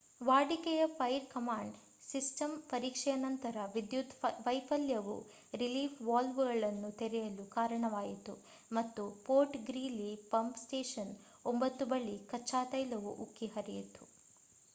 ವಾಡಿಕೆಯ fire command system ಪರೀಕ್ಷೆಯ ನಂತರದ ವಿದ್ಯುತ್ ವೈಫಲ್ಯವು ರಿಲೀಫ್ ವಾಲ್ವ್‌ಗಳನ್ನು ತೆರೆಯಲು ಕಾರಣವಾಯಿತು ಮತ್ತು ಫೋರ್ಟ್ ಗ್ರೀಲಿ ಪಂಪ್ ಸ್ಟೇಷನ್ 9 ಬಳಿ ಕಚ್ಚಾ ತೈಲವು ಉಕ್ಕಿ ಹರಿಯಿತು